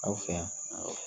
Aw fɛ yan